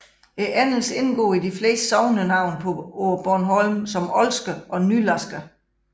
Endelsen indgår i de fleste sognenavne på Bornholm som Olsker og Nylarsker